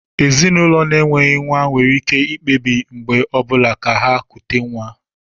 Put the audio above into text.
Ezinụlọ na-enweghị nwa nwere ike ikpebi mgbe ọ bụla ka ha kutè nwa